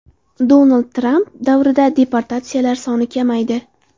Donald Tramp davrida deportatsiyalar soni kamaydi.